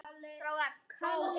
Mjúkt eða hart?